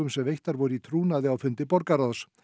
sem veittar voru í trúnaði á fundi borgarráðs